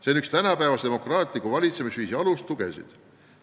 See on üks tänapäeva demokraatliku valitsemisviisi alustugesid.